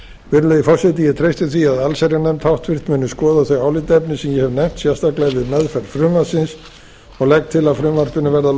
virðulegi forseti ég treysti því að allsherjarnefnd háttvirtur muni skoða þau álitaefni sem ég hef nefnt sérstaklega við meðferð frumvarpsins og legg til að frumvarpinu verði að